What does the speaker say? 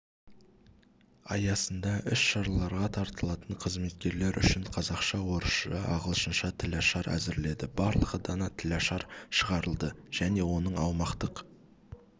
аясында іс-шараларға тартылатын қызметкерлер үшін қазақша-орысша-ағылшынша тілашар әзірледі барлығы дана тілашар шығарылды және оның аумақтық